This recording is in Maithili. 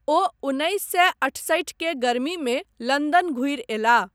ओ उन्नैस सए अठसठि के गर्मीमे लन्दन घुरि अयलाह।